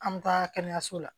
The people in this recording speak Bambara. An bɛ taa kɛnɛyaso la